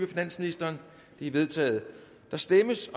finansministeren de er vedtaget der stemmes